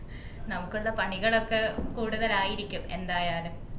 നമുക്കുള്ള പണികളൊക്കെ കൂടുതൽ ആയിരിക്കും എന്തായാലും